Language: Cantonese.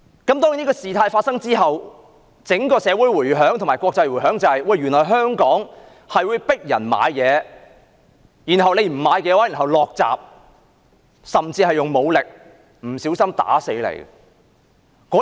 當然，在事件發生之後，引起整個社會及國際迴響，原來香港會迫使旅客購物，不購買的話就會關上店鋪大門甚至使用武力，不小心把旅客打死。